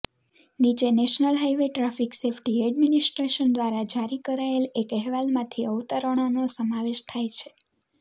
નીચે national highway traffic safety administration દ્વારા જારી કરાયેલ એક અહેવાલમાંથી અવતરણોનો સમાવેશ થાય છે